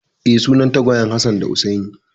Eh, sunan tagwayen Hassan da Hussaini.